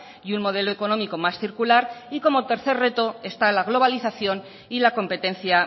y un modelo económico más circular y como tercer reto está la globalización y la competencia